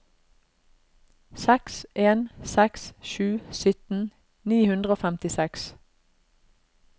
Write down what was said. seks en seks sju sytten ni hundre og femtiseks